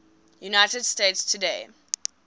united states today